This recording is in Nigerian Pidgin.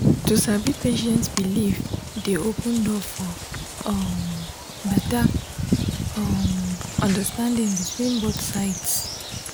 to sabi patient belief dey open door for um better um understanding between both sides